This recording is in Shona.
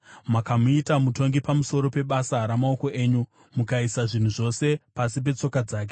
Makamuita mutongi pamusoro pebasa ramaoko enyu; mukaisa zvinhu zvose pasi petsoka dzake: